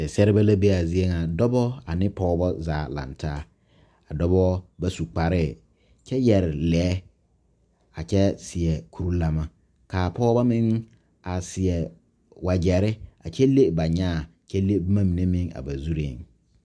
Seɛseɛrebɛ la be a zie ŋa dɔbɔ ane pɔgeba zaa la a laŋ taa a dɔbɔ ba su kparre kyɛ yɛre lee a kyɛ seɛ kurilane ka a pɔgeba meŋ a seɛ wagyere a kyɛ le ba nyaa a kyɛ le ba zuri.